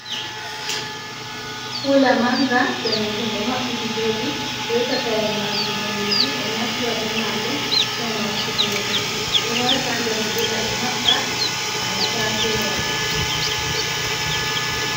Kula manga danejum ɗo maɓɓiti joɗi be takaire majum danejum ɓe naftira be maajum ngam watugo nyamdu ɓe wata ha nder kula ɓe maɓɓa haala ta fewa.